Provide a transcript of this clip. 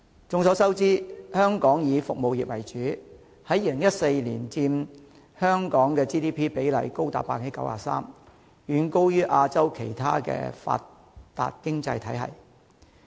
眾所周知，香港以服務業為主 ，2014 年佔香港的 GDP 高達 93%， 遠高於亞洲其他發達經濟體系。